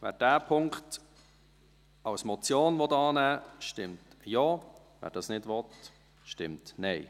Wer diesen Punkt als Motion annehmen will, stimmt Ja, wer das nicht will, stimmt Nein.